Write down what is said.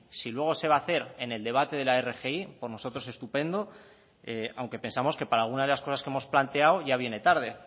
si luego se va a hacer en el debate de la rgi por nosotros estupendo aunque pensamos que para alguna de las cosas que hemos planteado ya viene tarde